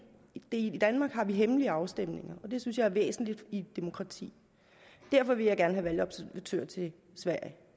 i danmark har vi hemmelige afstemninger og det synes jeg er væsentligt i et demokrati derfor vil jeg gerne have valgobservatører til sverige